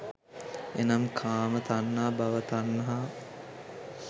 එනම් කාම තණ්හා, භව තණ්හා,